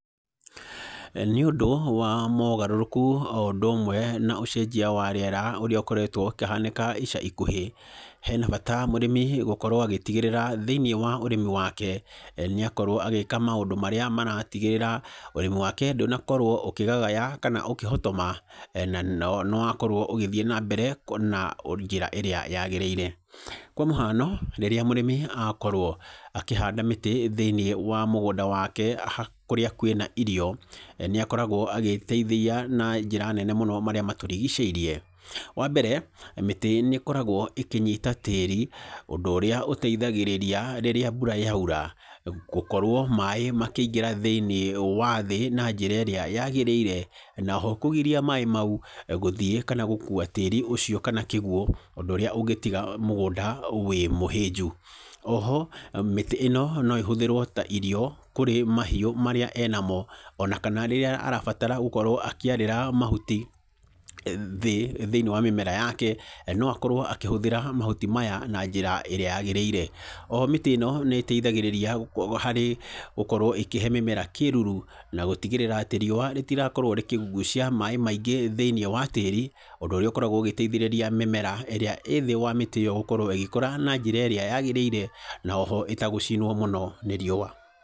Nĩũndũ wa ũgarũrũku o ũndũ umwe na ũcenjia wa rĩera ũrĩa ũkoretwo ũkĩhanĩka ica ikuhĩ, he na bata mũrĩmi gũkorwo agĩtigĩrĩra thĩinĩ wa ũrĩmi wake nĩ akorwo agĩka maundũ marĩa maratigĩrĩra ũrĩmi wake ndũnakorwo ũkĩgagaya kana ũkĩhotoma na nĩ wakorwo ũgĩthi nambere na njĩra ĩrĩa yaagĩrĩire. Kwa mũhano rĩrĩa mũrĩmi akorwo akĩhanda mĩtĩ thĩinĩ wa mũgũnda wake kũrĩa kwĩ na irio, nĩ akoragwo agĩteithia na njĩra nene mũno marĩa matũrigicĩirie. Wa mbere, mĩtĩ nĩ ĩkoragwo ĩkĩnyita tĩĩri, ũndũ ũrĩa ũteithagirĩria rĩrĩa mbura yaura, gũkorwo maaĩ makĩingĩra thĩinĩ wa thĩ na njĩra ĩrĩa yaagĩrĩire, na ho kũgirĩrĩria maaĩ mau gũthiĩ kana gũkua tĩĩri ũcio kana kĩguũ, ũndũ ũrĩa ũgĩtiga mũgũnda wĩ mũhĩnju. O ho, mĩtĩ ĩno no ĩhũthĩrwo ta irio kũrĩmahiũ marĩa e namo o na kana rĩrĩa arabatara gũkorwo akíĩrĩra mahuti thĩ thĩini wa mĩmera yake, no akorwo akĩhũthĩra mahuti maya na nira ĩrĩa yaagĩrĩire. O ho mĩtĩ ĩno nĩ ĩteithagĩrĩria harĩ gũkorwo ĩkĩhe mĩmera kĩruru, na gũtigĩrĩra atĩ riũa rĩtirakorwo rĩkĩgucia maaĩ maingĩ thĩinĩ wa tĩĩri, ũndũ ũrĩa ũkoragwo ũgĩteithĩrĩria mĩmera ĩrĩa ĩ thĩ wa mĩtĩ ĩyo gũkorwo ĩgĩkũra na njĩra ĩrĩa yaagĩrĩire, na o ho ĩtagũcinwo mũno nĩ riũa.